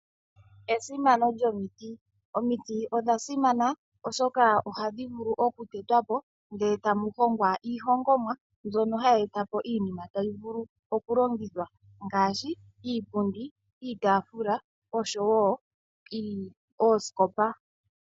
Esimano lyomiti omiti odha simana oshoka oha dhi vulu okutetwa po ndele ta mu hongwa iihongomwa mbyono ha yi eta po iinima ta yi vulu okulongithwa ngaashi iipundi, iitafula oshowo oosikopa.